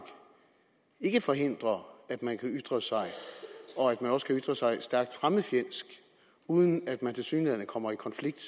ikke forhindrer at man kan ytre sig og at man også kan ytre sig stærkt fremmedfjendsk uden at man tilsyneladende kommer i konflikt